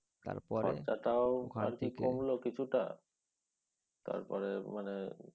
কমল কিছুটা তারপরে মানে